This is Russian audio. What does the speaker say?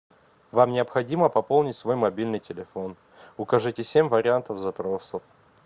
вам необходимо пополнить свой мобильный телефон укажите семь вариантов запросов